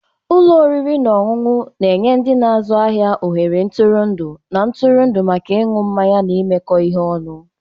Ụlọ oriri na ọṅụṅụ na-enye ndị na-azụ ahịa ohere ntụrụndụ na ntụrụndụ maka ịṅụ mmanya na imekọ ihe ọnụ.